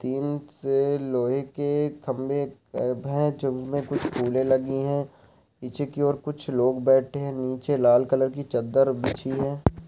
दि टिन से लोहे के खंबे हैं जिनमे कुछ फुले लगी है पीछे की ओर कुछ लोग बैठे हैं नीचे लाल कलर की चद्दर बिछी है।